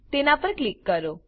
તેના પર ક્લિક કરો